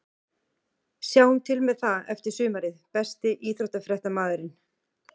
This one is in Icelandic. Sjáum til með það eftir sumarið Besti íþróttafréttamaðurinn?